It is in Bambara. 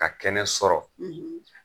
Ka kɛnɛ sɔrɔ